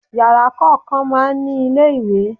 Yàrá kọ̀ọ̀kan máa ń ní ilé ìwẹ̀.